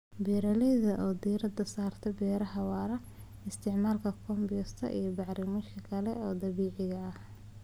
Beeralayda oo diiradda saaraya beeraha waara waxay isticmaalaan compost iyo bacrimiyeyaasha kale ee dabiiciga ah.